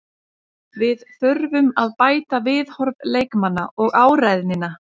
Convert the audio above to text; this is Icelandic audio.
Við þurfum að bæta viðhorf leikmanna og áræðnina.